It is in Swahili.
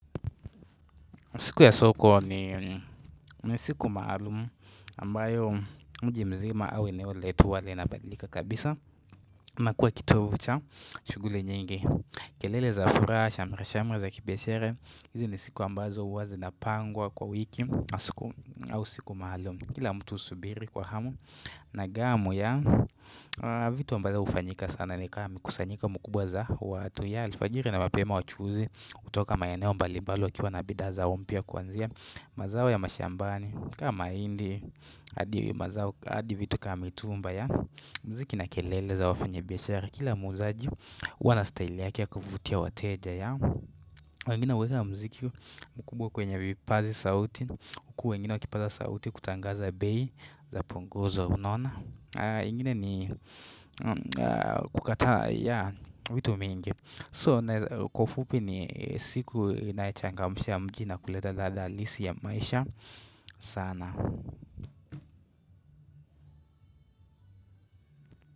Siku ya soko ni siku maalumu ambayo mji mzima au eneo letu wale inabadilika kabisa inakua kituo cha shuguli nyingi kelele za furaha, shamra-shamra za kibiashara hizi ni siku ambazo huwa zinapangwa kwa wiki siku au siku maalumu kila mtu usubiri kwa hamu na gamu ya vitu ambazo hufanyika sana ni kama mkusanyiko mkubwa za watu. Alfajiri na mspema wachuzi hutoka maeneo mbali mbali wakiwa na bidhaa zao mpia kwanzia mazao ya mashambani kama mahindi hadi mazao hadi vitu kama mitumba mziki na kelele za wafanya biashara kila muuzaji huwa na staili yake ya kuvutia wateja wengine huweka mziki mkubwa kwenye vipazi sauti huku wengine wakipaza sauti kutangaza bei zapunguzwa unaona ingine ni kukataa vitu mingi. So kwa ufupi ni siku inayochangamsha mji na kuleta ladha halisi ya maisha sana.